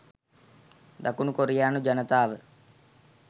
දකුණු කොරියානු ජනතාව